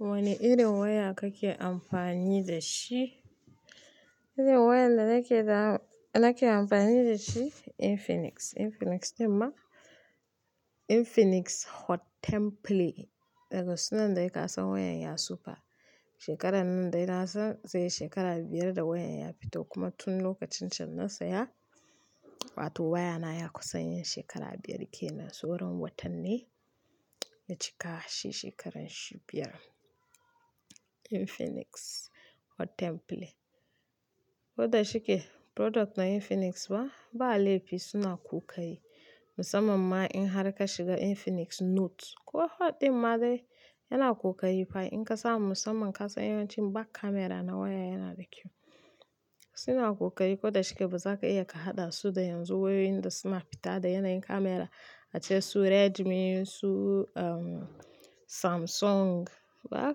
Wane irin waya kake amfani da shi? Irin wayar da nake amfani da shi infinix, infinix Hot 10 Play. Daga suna dai ka san wayan ya sufa shekarar nan dai na san zai yi shekara biyar da wayan ya fito kuma tun lokacin can na saya. Wato wayana ya yi kusan shekara biyar kenan. Saura watannai ya cika shi shekarar shi biyar. Infinix Hot 10 Play. Ko da shike product na Infinix ba, ba laifi suna kokari. Musamman ma in har ka shiga Infinix Note. Ko Hot ɗin ma dai yana kokari fa. In kasa musamman kasa yanayin back camera na waya yana da kyau. Suna kokari ko da shike ba za ka iya ka haɗa su da yanzu wayoyin da suna fita da yanayin kamara ace su Redmi su um Samsung. Ba za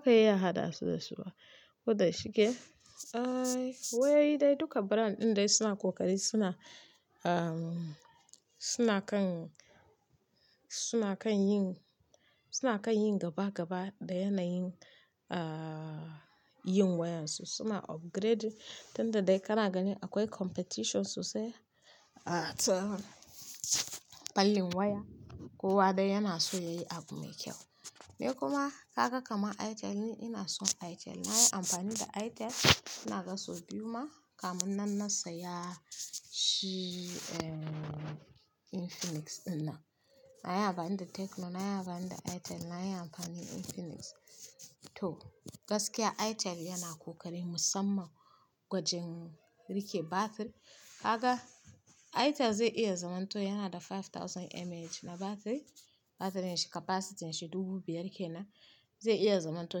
ka iya haɗa su da su ba. Ko da shike ai wayoyi dai duka brand ɗin dai suna kokari suna um suna kan, suna kan yi, suna kan yi gaba gaba da yanayin ah yin wayan su. Suna upgrade. Tunda dai kana gani akwai competition sosai a tsallin waya. Kowa dai yana so yayi abu mai kyau. Ni kuma ka ga kamar Itel ni ina son Itel. Na yi amfani da Itel ina ga sau biyu ma kamun nan na saya shi um Infinix ɗin nan. Na yi amfani da Tecno, na yi amfani da Itel, na yi amfani Infinix too. Gaskiya Itel yana kokari musamman gwajin rike batiri. Kaga Itel zai iya zaman to yana da 5000mAh na batiri. Batirin shi capacity shi ɗubu biyar kenan. Zai iya zaman to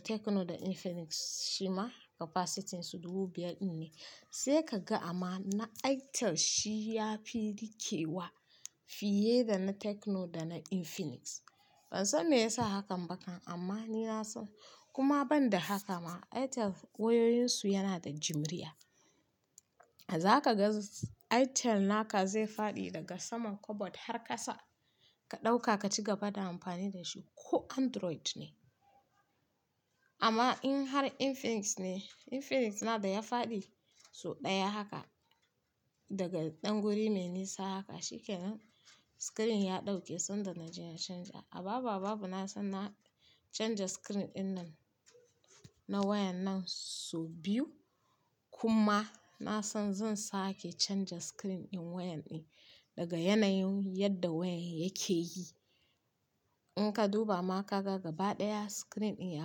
Tecno da Infinix shi ma capacity su ɗubu biyar ne. Sai ka ga amma na Itel shi ya fi rike wa fiye da na Tecno da na Infinix. Ban san me ya sa hakan ba kan amma ni na san kuma ban da haka ma Itel wayoyin su yana da jimriya. Zaka ga Itel naka zai faɗi daga saman kabad har kasa. Ka ɗauka ka ci gaba da amfani da shi ko Android ne. Amma in har Infinix ne, Infinix na da ya faɗi sau ɗaya haka daga ɗan guri me nisa haka shikenan. Screen ya ɗauke sanda na je na canza. A babh a babu na san na canza screen ɗin nan na wayan nan sau biyu. Kuma na san zan sake canza screen ɗin wayan ɗin daga yanayin yadda wayan yake yi. In ka duba ma ka ga gaba ɗaya screen ɗin ya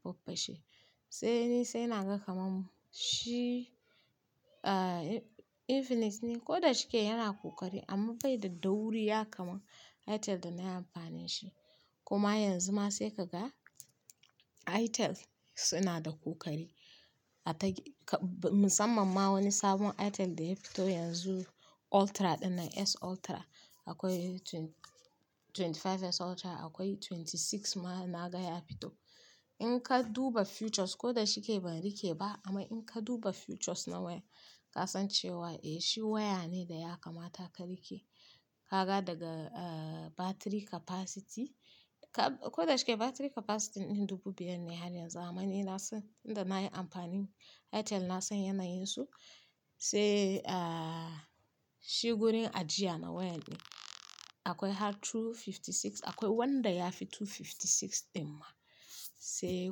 faffashe. Sai ni sai na ga kamar shi ah Infinix ne ko da shike yana kokari amma bai da dauriya kama Itel da na yi amfani shi. Kuma yanzu ma sai ka ga Itel suna da kokari. Atakmusamman ma wani sabon Itel da ya fito yanzu Ultra ɗinnan S Ultra. Akwai 25 S Ultra akwai 26 ma na ga ya fito. In ka duba features ko da shike ban rike ba amma in ka duba features na waya ka san cewa eh shi waya ne da ya kamata ka rike. Ka ga daga ah batiri capacity ko da shike batiri capacity ɗin ɗubu biyar ne har yanzu amma ni na san tunda na yi amfani Itel na san yanayin su. Sai ah shi gurin ajiya na wayan ɗin akwai har 256 akwai wanda ya fi 256 ɗin ma. Sai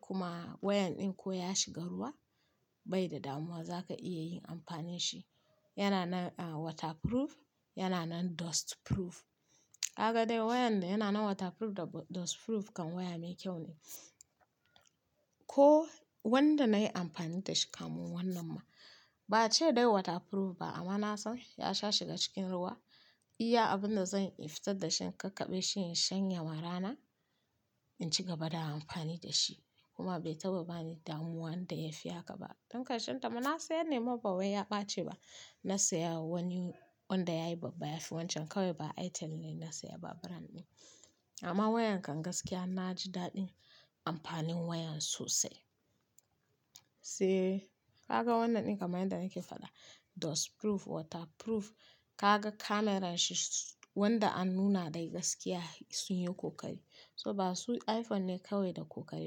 kuma wayan ɗin ko ya shiga ruwa bai da damuwa za ka iya yin amfani shi. Yana nan waterproof yana nan dustproof. Kaga dai wayanda yana nan waterproof da dustproof kan waya mai kyau ne. Ko wanda na yi amfani da shi kamun wannan ma ba cewa dai waterproof ba amma na san ya sha shiga cikin ruwa. Iya abin da zan yi fitar da shi in kakkaɓe shi in shanya ma rana in ci gaba da amfani da shi. Kuma bai taba bani damuwa wanda ya fi haka ba. Don karshen ta ma na sayar nema ba wai ya ɓaci ba. Na saya wani wanda yayi babba ya fi wancan kawai ba Itel ne na saya ba brand ɗin. Amma wayan kan gaskiya na ji daɗin amfanin wayan sosai. Sai ka ga wannan ɗin kamar yadda nake faɗa dustproof waterproof. Ka ga kamaran shi wanda an nuna dai gaskiya sun yi kokari. So ba su iPhone ne kawai da kokari ba.